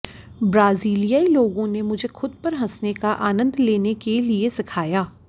ब्राजीलियाई लोगों ने मुझे खुद पर हँसने का आनंद लेने के लिए सिखाया